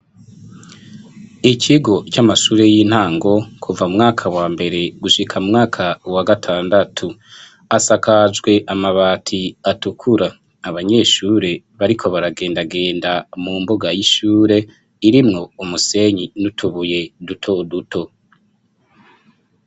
Ikigo c'amashure y'intango kuva mumwaka wa mbere gushika mumwaka wa gatandatu, asakajwe amabati atukura, abanyeshure bariko baragendagenda mu mbuga y'ishure, irimwo umusenyi n'utubuye duto duto.